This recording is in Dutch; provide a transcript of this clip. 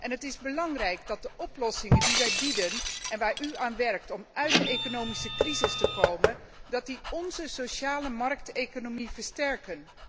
Het is belangrijk dat de oplossingen die wij bieden en waaraan u werkt om uit de economische crisis te komen, onze sociale markteconomie versterken.